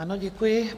Ano, děkuji.